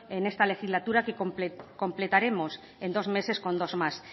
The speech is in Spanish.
en esta legislatura que completaremos en dos meses con dos más